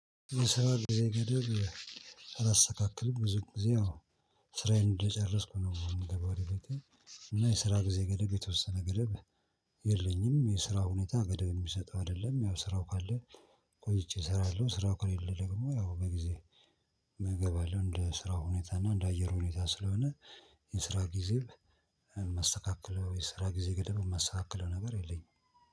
ስራ ጊዜ ገደብ አላስተካክልም ብዙ ጊዜ ስራዬን እንደጨረስኩ ነው የምገባው። እና የስራ ጊዜ ገደብ የተወሰነ ገደብ። የለኝም የስራ ሁኔታ ገደብን የምሰጠው አይደለም ያው ስራው ካለ። ቆይቼ እሰራለሁ ስራው ከሌለ ደግሞ ያው በጊዜ እገባለሁ። እንደ ስራው ሁኔታ እና እንደ አየር ሁኔታ ስለሆነ። የስራ ጊዜ ማስተካከለው የስራ ጊዜ ገደብ ማስተካከለው ነገር የለኝም